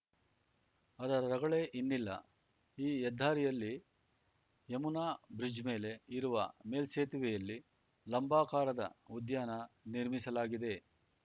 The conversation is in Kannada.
ಅದರ ರಗಳೆ ಇನ್ನಿಲ್ಲ ಈ ಹೆದ್ದಾರಿಯಲ್ಲಿ ಯಮುನಾ ಬ್ರಿಜ್‌ ಮೇಲೆ ಇರುವ ಮೇಲ್ಸೇತುವೆಯಲ್ಲಿ ಲಂಬಾಕಾರದ ಉದ್ಯಾನ ನಿರ್ಮಿಸಲಾಗಿದೆ